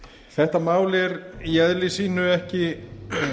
þetta mál er í eðli sínu ekki